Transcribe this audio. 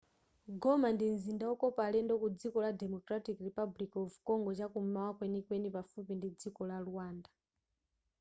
goma ndi mzinda wokopa alendo ku dziko la democratic republic of congo chakum'mawa kwenikweni pafupi ndi dziko la rwanda